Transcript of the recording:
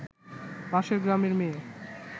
পাশের গ্রামের মেয়ে